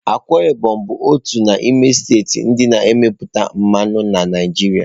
Akwa Ibom bụ otu n'ime steeti ndị na-emepụta mmanụ na Naịjirịa.